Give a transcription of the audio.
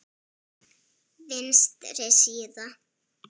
Vinstri síða